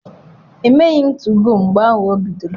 Emeghị m 2go mgbe ahụ o bidoro.